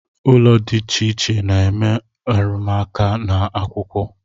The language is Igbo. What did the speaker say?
Ụlọ di icheiche na-eme arumuaka n’ akwụkwọ